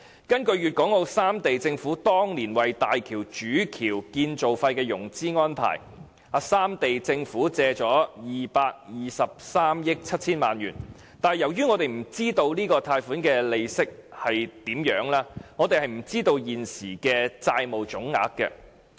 根據粵港澳三地政府當年為大橋主橋建造費作出的融資安排，三地政府共借貸223億 7,000 萬元，但由於我們不知道這筆貸款的利息是多少，我們無從得知現時的債務總額。